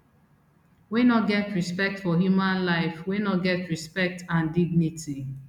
wey no get respect for human life wey no get respect and dignity